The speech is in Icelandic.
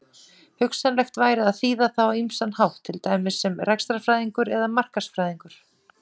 Hugsanlegt væri að þýða það á ýmsan hátt, til dæmis sem rekstrarfræðingur eða markaðsfræðingur.